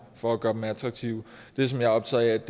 for at gøre dem attraktive det som jeg er optaget